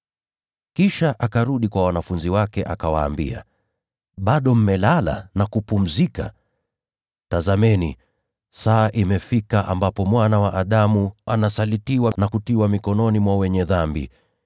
Kisha akarudi kwa wanafunzi wake, akawaambia, “Bado mmelala na kupumzika? Tazameni, saa imefika ambapo Mwana wa Adamu anasalitiwa na kutiwa mikononi mwa wenye dhambi.